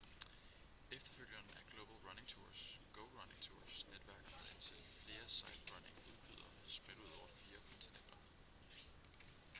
efterfølgeren af global running tours go running tours netværker med indtil flere sightrunning-udbydere spredt ud over fire kontinenter